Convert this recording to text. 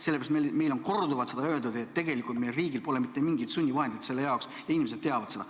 Sellepärast meil on korduvalt öeldud, et tegelikult meie riigil pole mitte mingit sunnivahendit selle jaoks ja inimesed teavad seda.